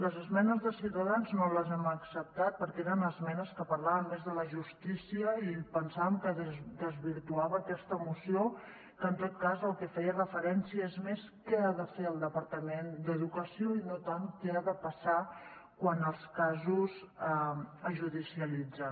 les esmenes de ciutadans no les hem acceptat perquè eren esmenes que parlaven més de la justícia i pensàvem que desvirtuava aquesta moció que en tot cas al que feia referència és més a què ha de fer el departament d’educació i no tant què ha de passar quan els casos es judicialitzen